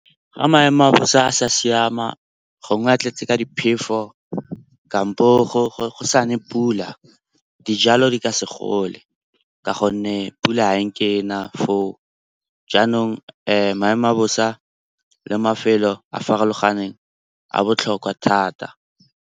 Ga maemo a bosa a sa siama gongwe a tletse ka diphefo kampo go sa ne pula, dijalo di ka se gole ka gonne pula ganke e na foo. Jaanong maemo a bosa le mafelo a farologaneng a botlhokwa thata.